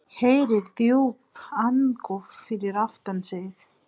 Heyrir djúp andköf fyrir aftan sig.